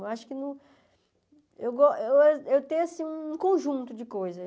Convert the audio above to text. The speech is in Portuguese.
Eu acho que não eu gos eu tenho, assim, um conjunto de coisas.